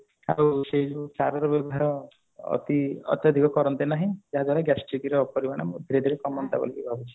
ଆଉ ସେଇ ଯୋଉ ସାରର ବ୍ୟବହାର ଅତି ଅତ୍ୟାଧିକ କରନ୍ତେ ନାହିଁ ଯାହା ଫଳରେ gastric ର ପରିମାଣ ଧୀରେ ଧୀରେ କମନ୍ତା ବୋଲି ଭାବୁଛି